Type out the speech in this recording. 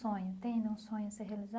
Sonho tem nenhum sonho a ser